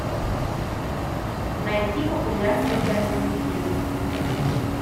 найти популярные фэнтези фильмы